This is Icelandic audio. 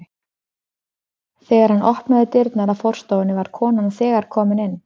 Þegar hann opnaði dyrnar að forstofunni var konan þegar komin inn.